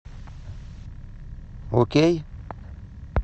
окей